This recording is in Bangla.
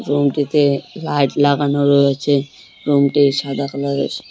রুম -টিতে লাইট লাগানো রয়েছে রুম -টি সাদা কালার -এর।